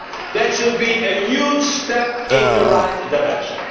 do. That should be a huge step in the right direction.